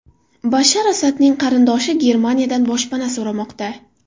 Bashar Asadning qarindoshi Germaniyadan boshpana so‘ramoqda.